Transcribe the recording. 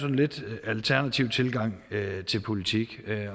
en lidt alternativ tilgang til politikken